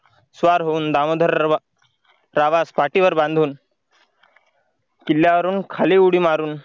स्वार होऊन दामोदररावास पाठीवर बांधून किल्ल्यावरून खाली उडी मारून